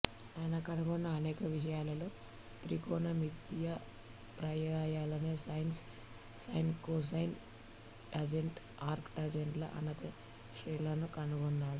ఆయన కనుగొన్న అనేక విషయాలలో త్రికోణమితీయ ప్రమేయాలైన sine cosine tangent arc tangent ల అనంత శ్రేణులను కనుగొన్నాడు